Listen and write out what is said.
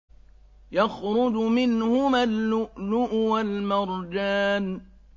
يَخْرُجُ مِنْهُمَا اللُّؤْلُؤُ وَالْمَرْجَانُ